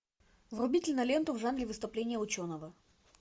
вруби киноленту в жанре выступление ученого